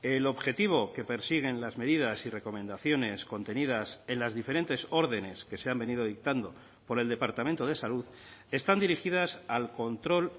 el objetivo que persiguen las medidas y recomendaciones contenidas en las diferentes órdenes que se han venido dictando por el departamento de salud están dirigidas al control